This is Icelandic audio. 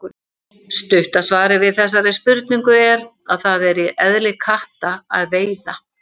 Stutta svarið við þessari spurningu er að það er í eðli katta að veiða.